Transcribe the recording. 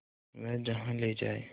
वह जहाँ ले जाए